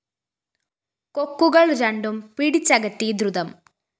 കൊക്കുകള്‍ രണ്ടും പിടിച്ചകറ്റീ ദ്രുതം